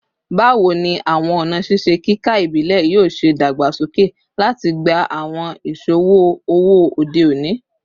Bawo ni awọn ọna ṣiṣe kika ibile yoo ṣe dagbasoke lati gba awọn iṣowo owo ode oni?